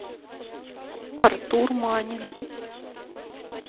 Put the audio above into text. артур манин